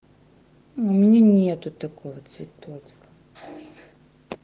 у меня нету такого цветочка